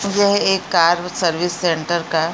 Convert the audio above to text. ये एक car service centre का --